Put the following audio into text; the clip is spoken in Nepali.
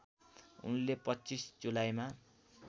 उनले २५ जुलाईमा